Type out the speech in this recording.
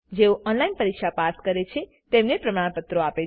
જેઓ ઓનલાઈન પરીક્ષા પાસ કરે છે તેમને પ્રમાણપત્રો આપે છે